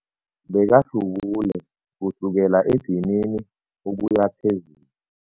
Bekahlubule kusukela edinini ukuya phezulu.